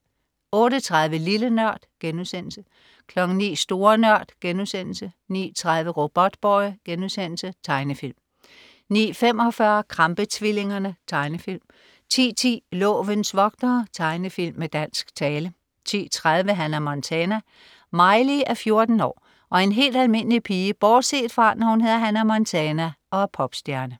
08.30 Lille Nørd* 09.00 Store Nørd* 09.30 Robotboy.* Tegnefilm 09.45 Krampe-tvillingerne. Tegnefilm 10.10 Lovens vogtere. Tegnefilm med dansk tale 10.30 Hannah Montana. Miley er 14 år og en helt almindelig pige bortset fra, når hun hedder Hannah Montana og er popstjerne